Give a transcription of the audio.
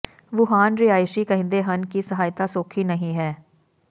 Wuhan ਰਿਹਾਇਸ਼ੀ ਕਹਿੰਦੇ ਹਨ ਕਿ ਸਹਾਇਤਾ ਸੌਖੀ ਨਹੀਂ ਹੈ